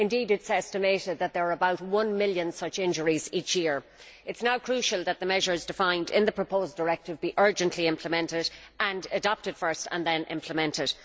Indeed, it is estimated that there are about one million such injuries each year. It is now crucial that the measures defined in the proposed directive be urgently implemented and adopted first, and then implemented.